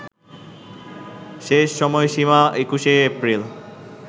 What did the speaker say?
শেষ সময়সীমা ২১শে এপ্রিল